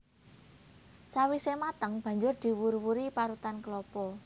Sawisé mateng banjur diwur wuri parutan klapa